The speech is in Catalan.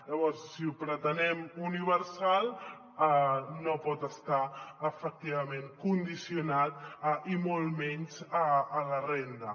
llavors si ho pretenem universal no pot estar efectivament condicionat i molt menys a la renda